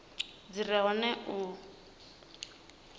dzi re hone na u